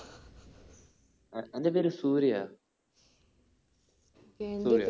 ഏർ അന്റ പേര് സൂര്യ.